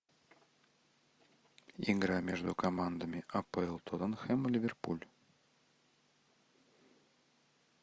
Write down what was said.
игра между командами апл тоттенхэм ливерпуль